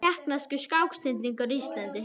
Tékkneskur skáksnillingur á Íslandi